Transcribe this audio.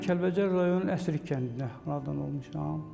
Kəlbəcər rayonunun Əsrik kəndində anadan olmuşam.